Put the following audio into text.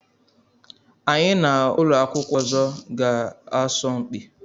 Anyị na ụlọ akwụkwọ ọzọ ga-asọ mpi.